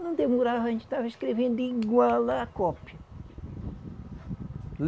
Não demorava, a gente estava escrevendo igual a cópia.